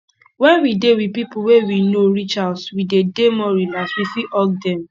when we dey with pipo wey we know reach house we de dey more relaxed we fit hug them